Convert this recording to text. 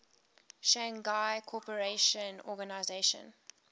shanghai cooperation organization